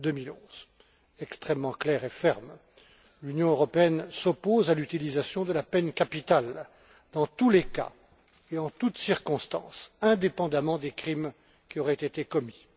2011. L'Union Européenne s'oppose à l'utilisation de la peine capitale dans tous les cas et en toutes circonstances, indépendamment des crimes qui auraient été commis.